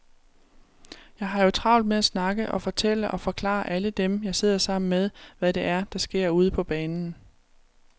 Jeg har jo travlt med at snakke og fortælle og forklare alle dem, jeg sidder sammen med, hvad det er, der sker ude på banen.